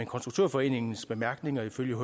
konstruktørforeningens bemærkninger ifølge